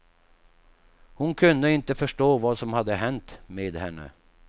Hon kunde inte förstå vad som hade hänt med henne.